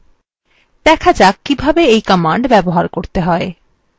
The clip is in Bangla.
দেখা যাক কিভাবে এই command ব্যবহার করতে হয়